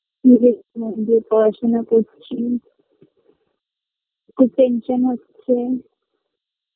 নিজে খুবমন দিয়ে পড়াশোনা করছি খুব tension হচ্ছে